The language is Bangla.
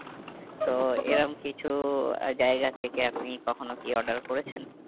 তো এরম কিছু জায়গা থেকে আপনি কখনো কি order করেছেন?